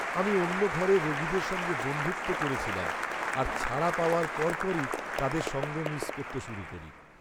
আমি অন্য ঘরে রোগীদের সঙ্গে বন্ধুত্ব করেছিলাম, আর ছাড়া পাওয়ার পরপরই তাদের সঙ্গ মিস করতে শুরু করি।